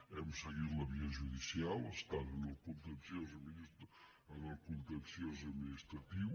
hem seguit la via judicial estan en el contenciós administratiu